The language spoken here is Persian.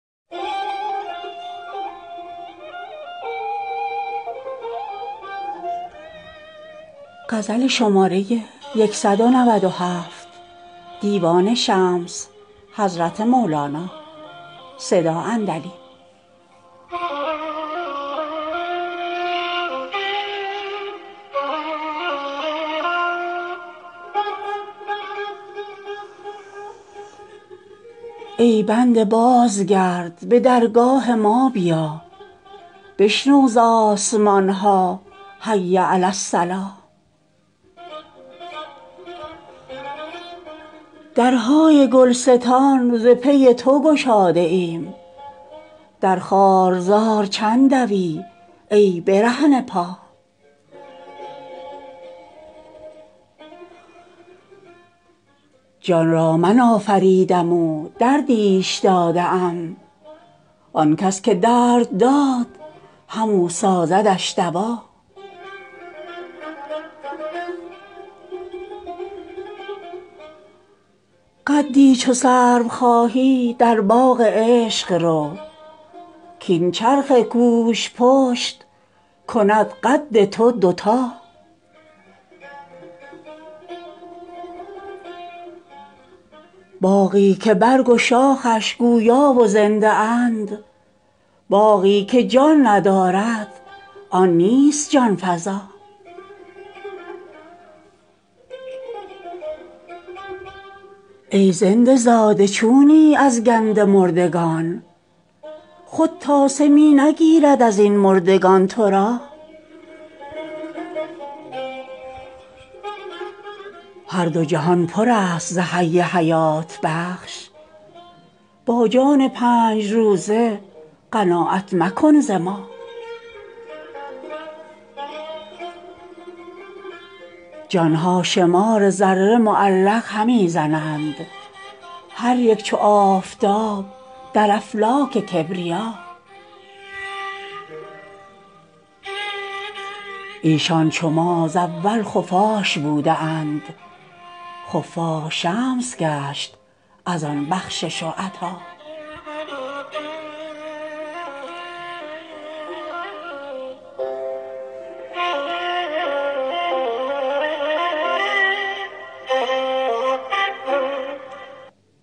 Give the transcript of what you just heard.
ای بنده بازگرد به درگاه ما بیا بشنو ز آسمان ها حی علی الصلا درهای گلستان ز پی تو گشاده ایم در خارزار چند دوی ای برهنه پا جان را من آفریدم و دردیش داده ام آن کس که درد داده همو سازدش دوا قدی چو سرو خواهی در باغ عشق رو کاین چرخ کوژپشت کند قد تو دوتا باغی که برگ و شاخش گویا و زنده اند باغی که جان ندارد آن نیست جان فزا ای زنده زاده چونی از گند مردگان خود تاسه می نگیرد از این مردگان تو را هر دو جهان پر است ز حی حیات بخش با جان پنج روزه قناعت مکن ز ما جان ها شمار ذره معلق همی زنند هر یک چو آفتاب در افلاک کبریا ایشان چو ما ز اول خفاش بوده اند خفاش شمس گشت از آن بخشش و عطا